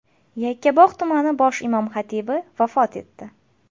Yakkabog‘ tumani bosh imom-xatibi vafot etdi.